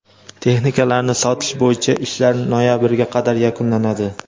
Texnikalarni sotish bo‘yicha ishlar noyabrga qadar yakunlanadi.